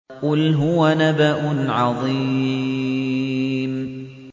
قُلْ هُوَ نَبَأٌ عَظِيمٌ